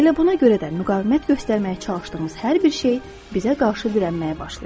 Elə buna görə də müqavimət göstərməyə çalışdığımız hər bir şey bizə qarşı dirənməyə başlayır.